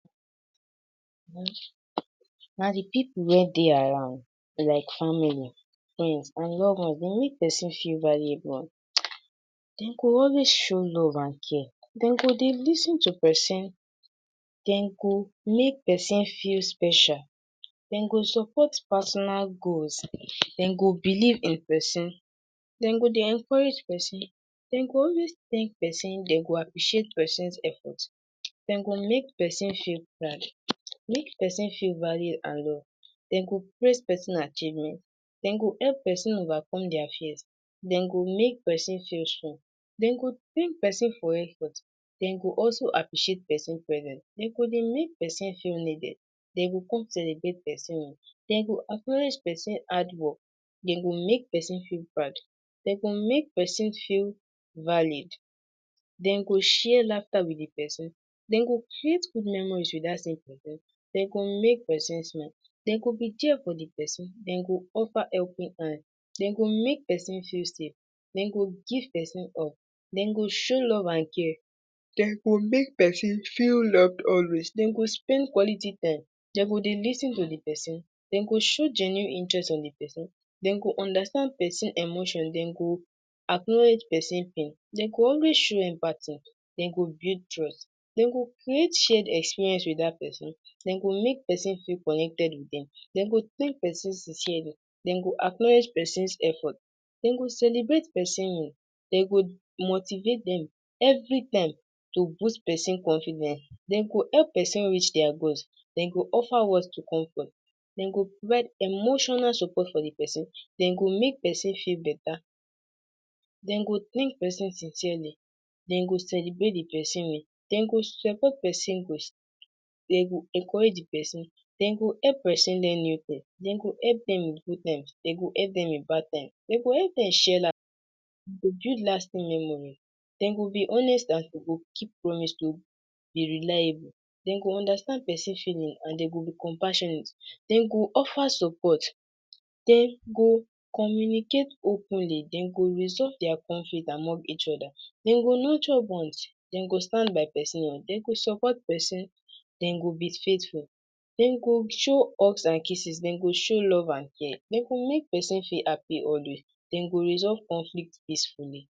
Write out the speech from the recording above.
Na de pipu wey dey around like family friends and lovers dey make person feel valuable dem go always show love and care dem go dey lis ten to person dem go make person feel special. dem go support personal growth dem go believe in person dem go dey encourage person dem go always thank person dem go appreciate persons effort dem go make person feel proud make person feel value and love dem go praise person achievement dem go help person overcome their fears dem go make person feel strong. dem go person for efforts dem go also appreciate person presence dem go dey make person feel needed. dem go come celebrate person dem go acknowledge person hard work dem go make person feel proud dem go make person feel valued dem go share laughter with de person dem go create good memories with that same person, dem go make person smile dem go be there for de person dem go offer helping hand dem go make person feel safe dem go give person hug. dem go show love and care dem go make person feel loved always dem go spend quality time dem go dey lis ten to de person dem go show genuine interest in the peson dem go understand person emotion. dem go acknowledge person pain. dem go always show empathy. dem go build trust. dem go create shared experience with dat person. dem go make person feel connected with dem dem go thank person sincerely. dem go acknowledge person's effort, dem go celebrate person win, dem go motivate dem every time to boost person confidence. dem go help person reach their goals, dem go offer words to comfort. dem go provide emotional support for de person dem go make person feel beta. dem go person sincerely. Dem go celebrate de person well. dem go support person grace, dem go encourage de person. dem go help person learn new things, dem go help dem in good times. dem go help dem in bad times, dem go help dem share build lasting memories. dem go be honest and dem go keep promise to be reliable dem go understand person feeling and dem go be compassionate. dem go offer support, dem go communicate openly. dem go resolve their conflict among each other. dem go nurture bonds, dem go stand by person. dem go support person, dem go be faithful, dem go show hugs and kisses. dem go show love and care. dem go make person feel happy always dem go resolve conflict peacefully.